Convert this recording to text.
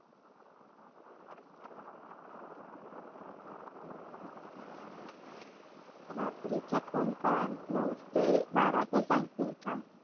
रात्रीचा कोणता नऊ ते बाराचा सांगते का?